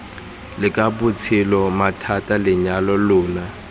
leka botshelo mathata lenyalo lona